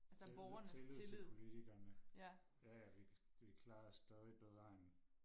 tillid til politikerne jaja vi vi klarer os stadig bedre end